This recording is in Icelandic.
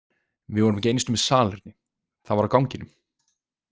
Við vorum ekki einu sinni með salerni, það var á ganginum.